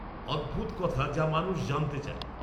অদ্ভুত কথা যা মানুষ জানতে চায়